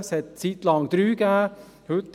Eine Zeit lang gab es drei;